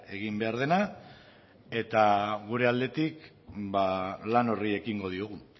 egin behar dena eta gure aldetik ba lan horri ekingo diogu